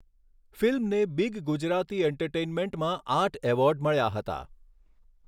ફિલ્મને બીગ ગુજરાતી એન્ટરટેઈનમેન્ટમાં આઠ એવોર્ડ મળ્યા હતા.